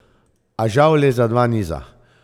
A žal le za dva niza.